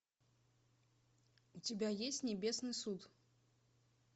у тебя есть небесный суд